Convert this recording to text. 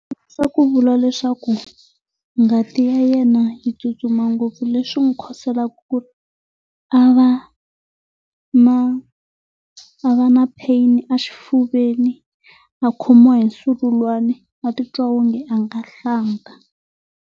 ku vula leswaku, ngati ya yena yi tsutsuma ngopfu leswi n'wi khoselaka ku ri a va na a va na pain a xifuveni, a khomiwa hi nzululwana, a titwa onge a nga hlanta.